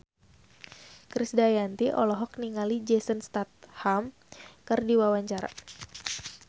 Krisdayanti olohok ningali Jason Statham keur diwawancara